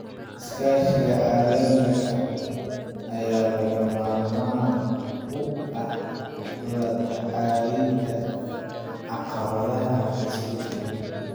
Iskaashiga caalamiga ah ayaa lagama maarmaan u ah la tacaalida caqabadaha isbeddelka.